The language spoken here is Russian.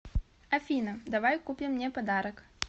афина давай купим мне подарок